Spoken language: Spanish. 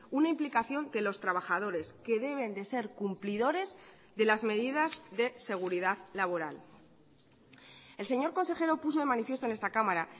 una implicación de los trabajadores que deben de ser cumplidores de las medidas de seguridad laboral el señor consejero puso de manifiesto en esta cámara